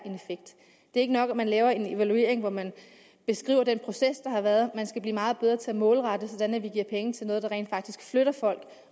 ikke nok at man laver en evaluering hvor man beskriver den proces der har været man skal blive meget bedre til at målrette sådan at vi giver penge til noget der rent faktisk flytter folk